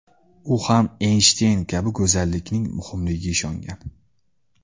U ham Eynshteyn kabi go‘zallikning muhimligiga ishongan.